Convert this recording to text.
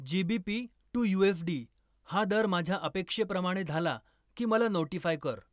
G. B. P. To U. S. D. हा दर माझ्या अपेक्षेप्रमाणे झाला की मला नोटीफाय कर